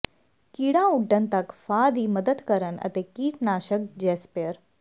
ਕੀੜਾ ਉੱਡਣ ਤੱਕ ਫਾਹ ਦੀ ਮਦਦ ਕਰਨ ਅਤੇ ਕੀਟਨਾਸ਼ਕ ਜੇਸਪਰੇਅ